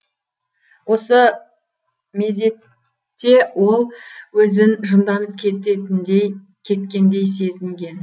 осы мезетте ол өзін жынданып кеткендей сезінген